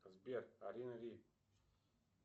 сбер алина ли